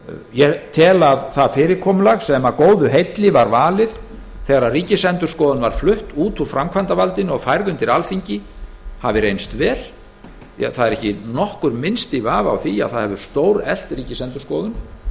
ég tel að það fyrirkomulag sem að góðu heilli var valið þegar ríkisendurskoðun var flutt út úr framkvæmdarvaldinu og færð undir alþingi hafi reynst vel ekki er nokkur minnsti vafi á því að það hefur stóreflt ríkisendurskoðun